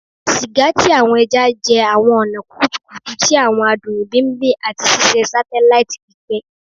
Siga ti awọn ẹja jẹ awọn ọna kutukutu ti awọn adun imbibing ati ṣiṣe satelaiti pipẹ